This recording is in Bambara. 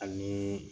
Ani